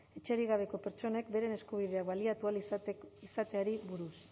etxerik gabeko pertsonek beren eskubideak baliatu ahal izateari buruz